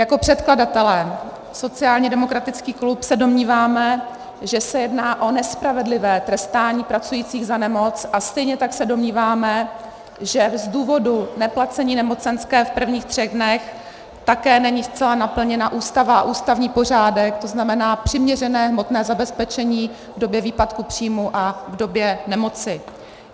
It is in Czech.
Jako předkladatelé sociálně demokratický klub se domníváme, že se jedná o nespravedlivé trestání pracujících za nemoc, a stejně tak se domníváme, že z důvodu neplacení nemocenské v prvních třech dnech také není zcela naplněna Ústava a ústavní pořádek, to znamená přiměřené hmotné zabezpečení v době výpadku příjmu a v době nemoci.